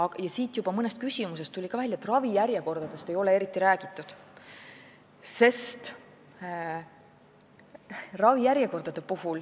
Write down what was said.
Ka siin tuli mõnest küsimusest juba välja, et ravijärjekordadest ei ole eriti räägitud.